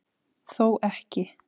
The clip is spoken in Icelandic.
Þó ekki